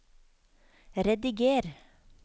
rediger